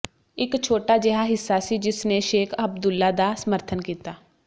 ਇੱਕ ਛੋਟਾ ਜਿਹਾ ਹਿੱਸਾ ਸੀ ਜਿਸ ਨੇ ਸ਼ੇਖ ਅਬਦੁੱਲਾ ਦਾ ਸਮਰਥਨ ਕੀਤਾ